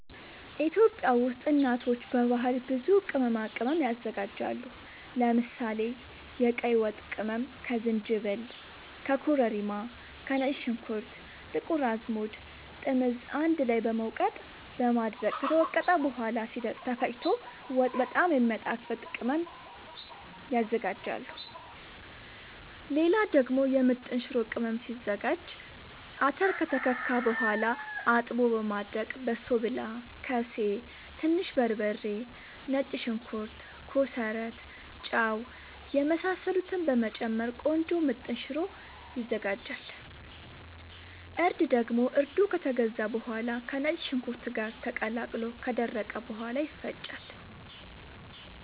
ኢትዮጵያ ውስጥ እናቶች በባህል ብዙ ቅመማ ቅመም ያዘጋጃሉ። ለምሳሌ፦ የቀይ ወጥ ቅመም ከዝንጅብል፣ ከኮረሪማ፣ ከነጭ ሽንኩርት፣ ጥቁር አዝሙድ፣ ጥምዝ አንድ ላይ በመውቀጥ በማድረቅ ከተወቀጠ በኋላ ሲደርቅ ተፈጭቶ ወጥ በጣም የሚያጣፋጥ ቅመም ያዝጋጃሉ። ሌላ ደግሞ የምጥን ሽሮ ቅመም ሲዘጋጅ :- አተር ከተከካ በኋላ አጥቦ በማድረቅ በሶብላ፣ ከሴ፣ ትንሽ በርበሬ፣ ነጭ ሽንኩርት፣ ኮሰረት፣ ጫው የመሳሰሉትን በመጨመር ቆንጆ ምጥን ሽሮ ይዘጋጃል። እርድ ደግሞ እርዱ ከተገዛ በኋላ ከነጭ ሽንኩርት ጋር ተቀላቅሎ ከደረቀ በኋላ ይፈጫል።